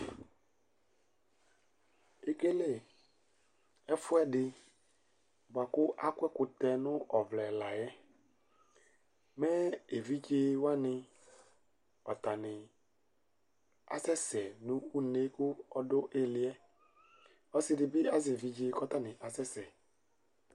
Ekele ɛfʋɛdi buakʋ akɔ ɛkʋtɛ nʋ ɔvlɛ layɛ mɛ evidzewani atani asɛsɛ nʋ une kʋ ɔdʋ iliyɛ Ɔsidibi azɛ evidze kʋ ɔtani asɛsɛ